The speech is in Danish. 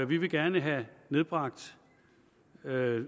vi vil gerne have nedbragt